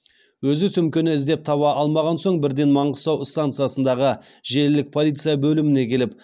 өзі сөмкені іздеп таба алмаған соң бірден маңғыстау станциясындағы желілік полиция бөліміне келіп